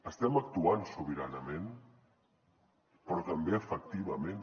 estem actuant sobiranament però també efectivament